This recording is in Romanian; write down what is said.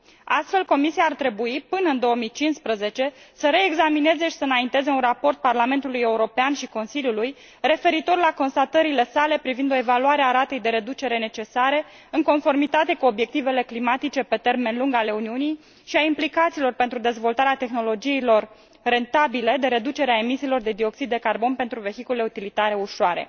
Astfel, Comisia ar trebui, până în 2015, să reexamineze și să înainteze un raport Parlamentului European și Consiliului referitor la constatările sale privind o evaluare a ratei de reducere necesare, în conformitate cu obiectivele climatice pe termen lung ale Uniunii, și a implicațiilor pentru dezvoltarea tehnologiilor rentabile de reducere a emisiilor de CO 2 pentru vehiculele utilitare ușoare.